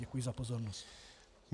Děkuji za pozornost.